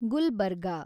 Gulbarga